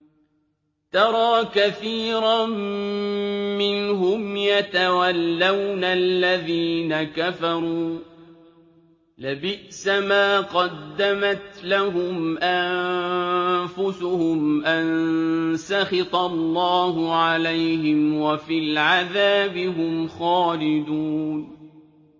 تَرَىٰ كَثِيرًا مِّنْهُمْ يَتَوَلَّوْنَ الَّذِينَ كَفَرُوا ۚ لَبِئْسَ مَا قَدَّمَتْ لَهُمْ أَنفُسُهُمْ أَن سَخِطَ اللَّهُ عَلَيْهِمْ وَفِي الْعَذَابِ هُمْ خَالِدُونَ